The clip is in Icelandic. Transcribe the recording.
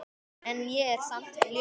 En ég er samt ljón.